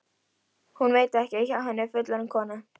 Hún veit ekki að hjá henni er fullorðin kona.